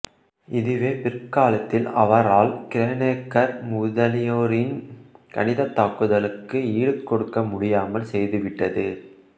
இதுவே பிற்காலத்தில் அவரால் கிரானெக்கர் முதலியோரின் கணிதத்தாக்குதலுக்கு ஈடுகொடுக்கமுடியாமல் செய்துவிட்டது